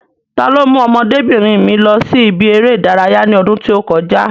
Ta ló mú ọmọdébìnrin mi lọ sí ibi eré ìdárayá ní ọdún tí ó kọjá?